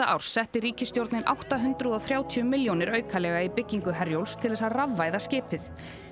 árs setti ríkisstjórnin átta hundruð og þrjátíu milljónir aukalega í byggingu Herjólfs til að rafvæða skipið